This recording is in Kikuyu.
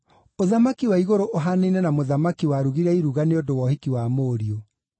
“Ũthamaki wa igũrũ ũhaanaine na mũthamaki warugire iruga nĩ ũndũ wa ũhiki wa mũriũ.